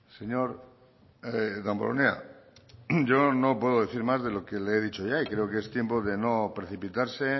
señor damborenea yo no puedo decir más de lo que le he dicho ya creo que es tiempo de no precipitarse